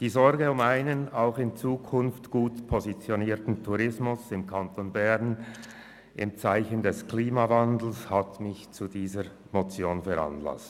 Die Sorge um einen auch in Zukunft gut positionierten Tourismus im Kanton Bern im Zeichen des Klimawandels hat mich zu dieser Motion veranlasst.